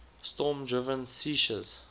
storm driven seiches